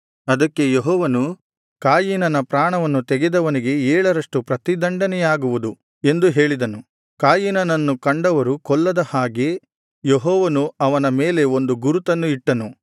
ಅದಕ್ಕೆ ಯೆಹೋವನು ಕಾಯಿನನ ಪ್ರಾಣವನ್ನು ತೆಗೆದವನಿಗೆ ಏಳರಷ್ಟು ಪ್ರತಿದಂಡನೆಯಾಗುವುದು ಎಂದು ಹೇಳಿದನು ಕಾಯಿನನನ್ನು ಕಂಡವರು ಕೊಲ್ಲದ ಹಾಗೆ ಯೆಹೋವನು ಅವನ ಮೇಲೆ ಒಂದು ಗುರುತನ್ನು ಇಟ್ಟನು